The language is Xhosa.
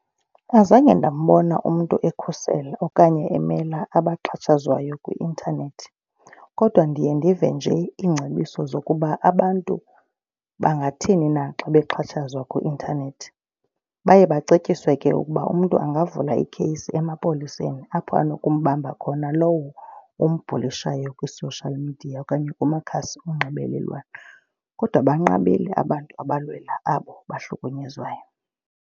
Azange ndambona umntu ekhusela okanye emela abaxhatshazwayo kwi-intanethi, kodwa ndiye ndive nje iingcebiso zokuba abantu bangathini na xa bexhatshazwa kwi-intanethi. Baye bacetyiswe ke ukuba umntu angavula ikheyisi emapoliseni apho anokumbamba khona lowo umbhulishayo kwi-social media okanye kumakhasi onxibelelwano. Kodwa banqabile abantu abalwela abo bahlukunyezwayo.